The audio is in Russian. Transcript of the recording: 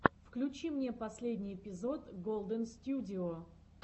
включи мне последний эпизод голдэнстюдио